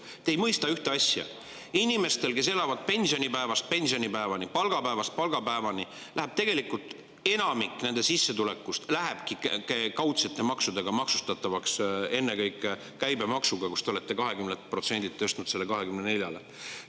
Te ei mõista ühte asja: inimestel, kes elavad pensionipäevast pensionipäevani, palgapäevast palgapäevani, läheb enamik sissetulekust maksustatavaks kaudsete maksudega, ennekõike käibemaksuga, mille te olete 20%‑lt tõstnud 24%‑le.